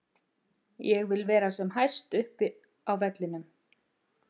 Ég vil vera sem hæst upp á vellinum.